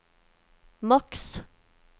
maks